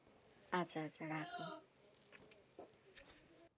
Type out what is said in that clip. আচ্ছা আচ্ছা রাখি।